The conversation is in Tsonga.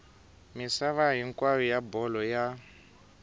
misava hinkwayo wa bolo ya